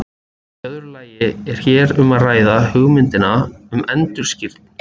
Í öðru lagi er hér um að ræða hugmyndina um endurskírn.